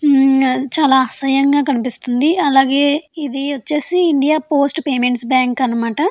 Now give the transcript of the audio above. చాలా అసహ్యంగా కనిపిస్తుంది. అలాగే ఇది వచ్చేసి ఇండియా పేమెంట్స్ పోస్టు బ్యాంక్ అన్నమాట.